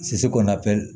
kɔnɔna pɛrɛn